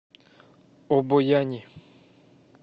обояни